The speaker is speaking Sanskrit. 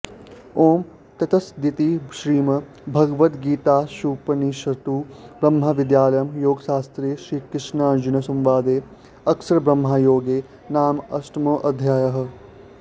ॐ तत्सदिति श्रीमद्भगवद्गीतासूपनिषत्सु ब्रह्मविद्यायां योगशास्त्रे श्रीकृष्णार्जुनसंवादे अक्षरब्रह्मयोगो नामाष्टमोऽध्यायः